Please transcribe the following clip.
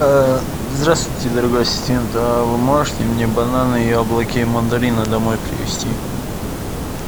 здравствуйте дорогой ассистент вы можете мне бананы яблоки и мандарины домой привезти